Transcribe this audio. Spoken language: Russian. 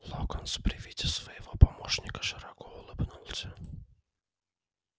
локонс при виде своего помощника широко улыбнулся